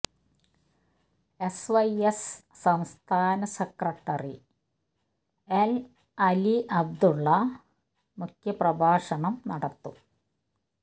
S Y S സംസ്ഥാന secretary N Ali Abdulla മുഖ്യപ്രഭാഷണം നടത്തും